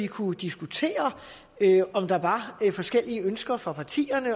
kunne diskutere om der var forskellige ønsker fra partiernes